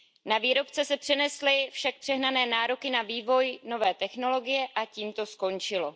Na výrobce se přenesly však přehnané nároky na vývoj nové technologie a tím to skončilo.